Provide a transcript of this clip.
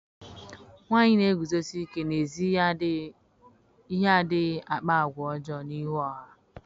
Nwanyị na-eguzosi ike n'ezi ihe adịghị akpa àgwà ọjọọ n'ihu ọha.